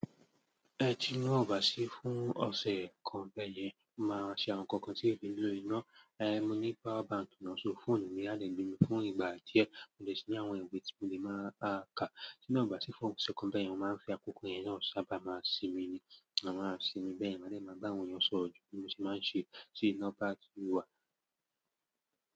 Ẹ tina ọ̀ bà sí fún ọ̀sẹ̀ kan bẹ́ẹ̀ yẹn, máa ṣe awon ǹkankan tí ẹ̀ ki ń lo iná. Eh, mo ní power bank náà so, phone mi a lè gbémi fún ìgbà díẹ̀, mo dẹ̀ síi ní àwọn ìwé tí mo lè máa ka. Ti'na ọ̀ bà sí fún ọ̀sẹ̀ kan bẹ́ẹ̀ yẹn, mo máa ń fi akoko yẹn náà sábà máa ṣinmi ni, máa ma ṣinmi bẹ́ẹ̀ yẹn. Màá dè máa bá àwọn ènìyàn sọ̀rọ̀, ju bí mo ṣe máa ń ṣe tí iná bà tí wà.